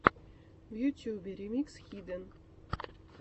в ютюбе ремикс хиден